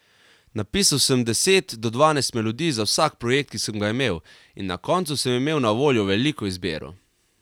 Napisal sem deset do dvanajst melodij za vsak projekt, ki sem ga imel, in na koncu sem imel na voljo veliko izbiro.